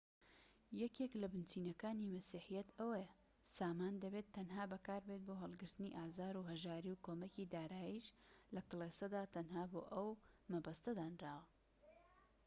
یەکێك لە بنچینەکانی مەسیحیەت ئەوەیە سامان دەبێت تەنها بەکاربێت بۆ هەڵگرتنی ئازار و هەژاری و کۆمەکی داراییش لە کلێسەدا تەنها بۆ ئەو مەبەستە دانراوە